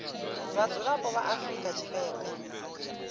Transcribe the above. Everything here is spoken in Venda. vha mudzulapo wa afrika tshipembe